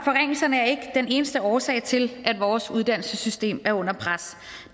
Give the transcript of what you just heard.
forringelserne er ikke den eneste årsag til at vores uddannelsessystem er under pres